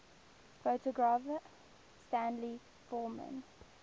photographer stanley forman